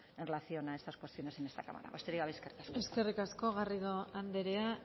en relación a estas cuestiones en esta cámara besterik gabe eskerrik asko eskerrik asko garrido andrea